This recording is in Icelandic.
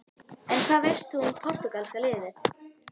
En hvað veist þú um Portúgalska-liðið?